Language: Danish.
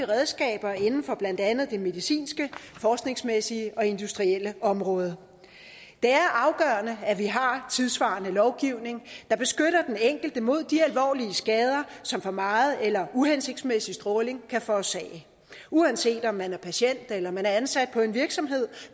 redskab inden for blandt andet det medicinske forskningsmæssige og industrielle område det er afgørende at vi har tidssvarende lovgivning der beskytter den enkelte mod de alvorlige skader som for meget eller uhensigtsmæssig stråling kan forårsage uanset om man er patient eller man er ansat på en virksomhed